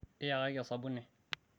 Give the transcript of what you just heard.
iyakaki osabuni